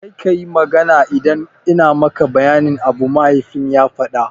Kar kayi magana idan ina maka bayanin abu, mahaifin ya faɗa.